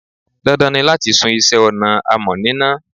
Dandan ni láti sun iṣẹ́ ọnà amọ̀ níná.